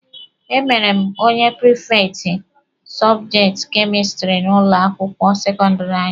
E mere m onye prifekti sọbjekti kemistiri n'ụlọ akwụkwọ sekọndịrị anyị.